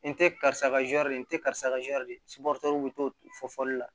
N te karisa ka zɔri de ye n te karisa ka zɔri dio fɔli la